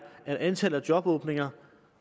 at antallet af jobåbninger